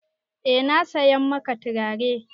Eh na saya maka turare.